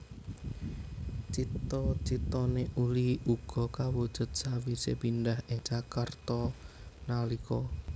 Cita citané Uli uga kawujud sawise pindah ing Jakarta nalika